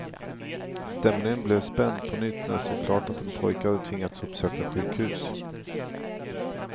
Stämningen blev spänd på nytt när det stod klart att en pojke hade tvingats uppsöka sjukhus.